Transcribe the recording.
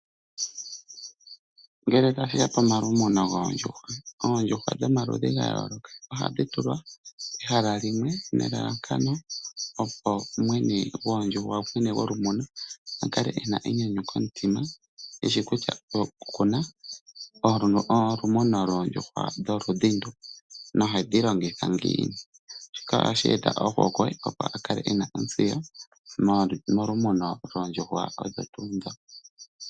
Ngele tashi ya pomalumuno goondjuhwa, oondjuhwa dhomaludhi ga yooloka ohadhi tulwa pehala limwe nelalakano, opo mwene golumuno a kale e na enyanyu komutima e shi kutya oku na olumuno loondjuhwa dholudhi ndu nohedhi longitha ngiini. Shika ohashi eta ohokwe, opo a kale e na ontseyo mokumuna oondjuhwa odho tuu ndho.